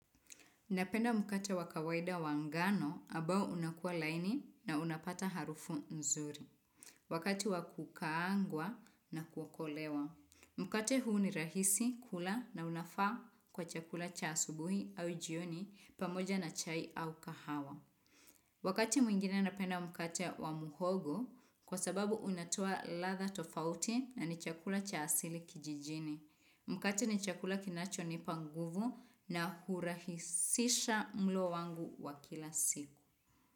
Napenda mkate wa kawaida wangano ambao unakua laini na unapata harufu nzuri. Wakati wa kukaangwa na kukolewa. Mkate huu ni rahisi, kula na unafaa kwa chakula cha asubuhi au jioni pamoja na chai au kahawa. Wakati mwingine napenda mkate wa muhogo kwa sababu unatoa ladha tofauti na ni chakula cha asili kijijini. Mkate ni chakula kinachonipa nguvu na hurahisisha mlo wangu wa kila siku.